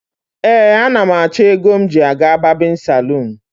Ee, anam acho ego m ji aga babinsalon